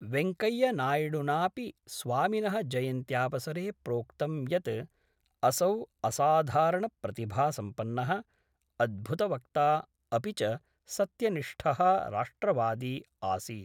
वैंकैया नायडुनापि स्वामिनः जयन्त्यावसरे प्रोक्तं यत् असौ असाधारणप्रतिभासम्पन्नः, अद्भुतवक्ता अपि च सत्यनिष्ठः राष्ट्रवादी आसीत्।